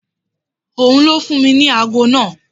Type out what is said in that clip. Ò n ló fún mi ní ago náà.